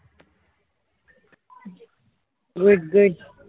greatgreat